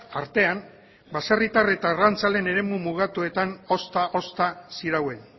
artean baserritar eta arrantzaleen eremu mugatuetan ozta ozta zirauen